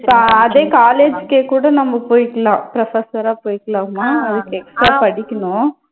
இப்ப அதே college க்கே கூட நம்ம போய்க்கலாம் professor ஆ போய்க்கலாமா அதுக்கு extra படிக்கணும்.